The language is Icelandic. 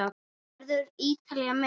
Verður Ítalía með?